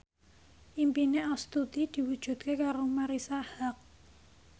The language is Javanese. impine Astuti diwujudke karo Marisa Haque